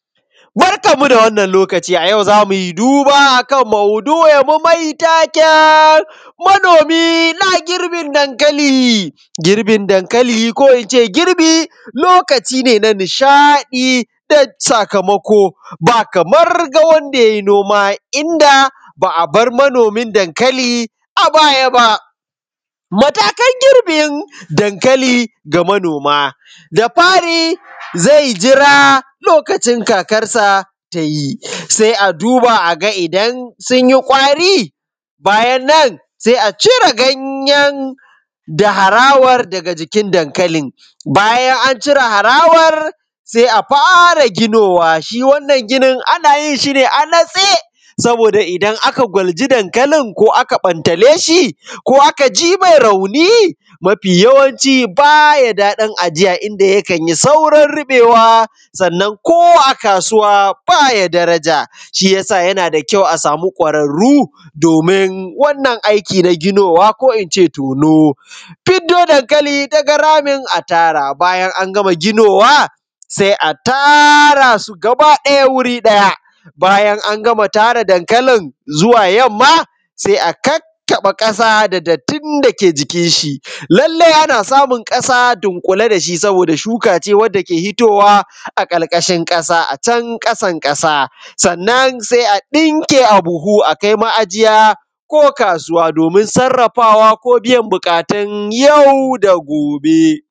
Barkanmu da wannan lokaci, a yau zamu yi duba akan maudu’inmu mai taken manomi na girbin dankali. Girbin dankali ko ince girbi lokaci ne da na nishaɗi da sakamako, ba kamar ga wanda ye noma, inda ba a bar manomin dankali a baya ba. Matakan girbin dankali ga manoma. Da fari zai jira lokacin kakarsa tayi, sai a duba aga idan sun yi ƙwari, bayan nan sai a cire ganyen da harawan daga jikin dankalin, bayan an cire harawar sai a fara ginowa, shi wannan ginin ana yin shi ne a natse, saboda idan aka gwalji dankalin ko aka bantale shi ko aka ji mai rauni, mafi yawanci baya daɗin ajiya inda yikan yi saurin riɓewa sannan ko a kasuwa baya daraja. Shiyasa yana da kyau a samu ƙwararru domin wannan aiki na ginowa ko ince tono. Fiddo dankali daga ramin atara, bayan an gama ginowa sai a tara su gaba ɗaya wuri ɗaya, bayan an gama tara dankalin zuwa yamma sai a kakkaɓe ƙasa da dattin da yike jikin shi, lalle ana samun ƙasa dunƙule dashi saboda shuka ce wadda ke hitowa a kalkashin ƙasa, a can ƙasan-ƙasa. Sannan sai a ɗinke a buhu, akai ma’ajiya ko kasuwa domin sarrafawa ko biyan buƙatun yau da gobe.